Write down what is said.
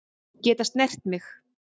Geta snert mig.